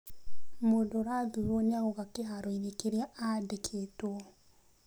Mũndũ ũrathurwo nĩ agoka kĩhaaro-inĩ kĩrĩa aandĩkĩtwo.